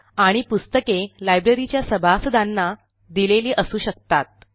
आणि पुस्तके लायब्ररीच्या सभासदांना दिलेली असू शकतात